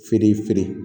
Feere feere